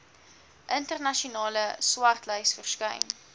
internasionale swartlys verskyn